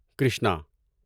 Krishna